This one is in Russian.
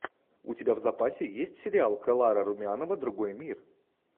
у тебя в запасе есть сериал клара румянова другой мир